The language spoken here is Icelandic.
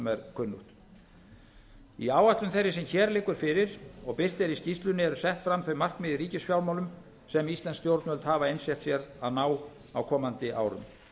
kunnugt í áætlun þeirri sem hér liggur fyrir og birt er í skýrslunni eru sett fram þau markmið í ríkisfjármálum sem íslensk stjórnvöld hafa einsett sér að ná á komandi árum